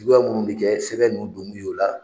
Jugu munnu bi kɛ sɛbɛ nunnu don kun ye ola